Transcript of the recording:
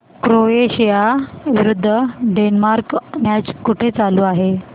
Croatia विरुद्ध Denmark match कुठे चालू आहे